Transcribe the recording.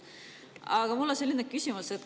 Aga mul on selline küsimus.